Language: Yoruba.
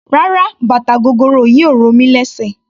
Rárá bàtà gogoro yìí ò ro mí lésè.